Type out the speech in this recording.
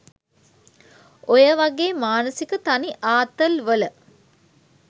ඔය වගේ මානසික තනි ආතල් වල